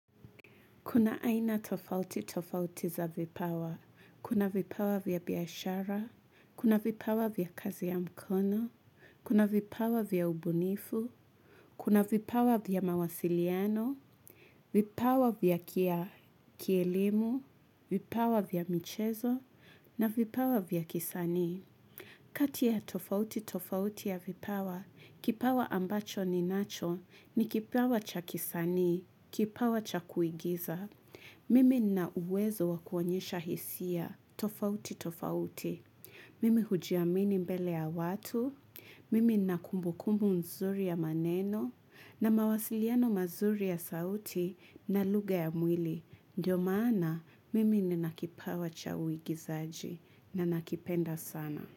Kuna aina tofauti tofauti za vipawa. Kuna vipawa vya biashara. Kuna vipawa vya kazi ya mkono, kuna vipawa vya ubunifu, kuna vipawa vya mawasiliano, vipawa vya kielimu, vipawa vya michezo, na vipawa vya kisanii. Kati ya tofauti tofauti ya vipawa, kipawa ambacho ninacho ni kipawa cha kisanii, kipawa cha kuigiza. Mimi nina uwezo wa kuonyesha hisia tofauti tofauti. Mimi hujiamini mbele ya watu, mimi nina kumbukumbu nzuri ya maneno na mawasiliano mazuri ya sauti na lugha ya mwili. Ndio maana mimi nina kipawa cha uigizaji na nakipenda sana.